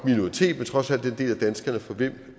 minoritet men trods alt en del af danskerne for hvem